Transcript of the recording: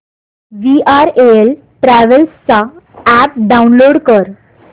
VRL travels चा app download कर